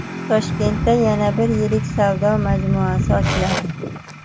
Toshkentda yana bir yirik savdo majmuasi ochiladi.